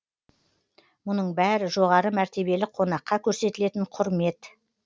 мұның бәрі жоғары мәртебелі қонаққа көрсетілетін құрмет